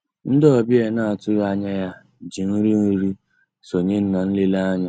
Ndị́ ọ̀bịá á ná-àtụ́ghị́ ànyá yá jì nrí nri sonyéé ná nlélè ànyị́.